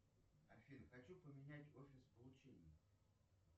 афина хочу поменять офис получения